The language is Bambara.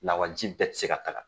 Lawaji bɛɛ te se ka kaga.